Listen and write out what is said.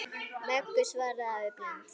Möggu, svaraði afi blindi.